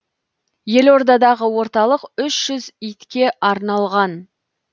елордадағы орталық үш жүз итке арналған